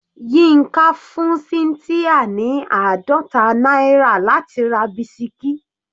Yinka fún cynthia ní àádọta náírà láti ra bisikí.